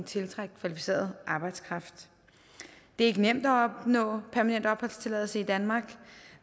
tiltrække kvalificeret arbejdskraft det er ikke nemt at opnå permanent opholdstilladelse i danmark